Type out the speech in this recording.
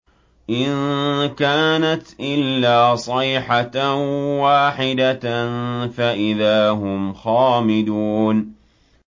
إِن كَانَتْ إِلَّا صَيْحَةً وَاحِدَةً فَإِذَا هُمْ خَامِدُونَ